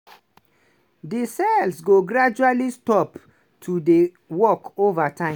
di cells go gradually stop to dey work ova time.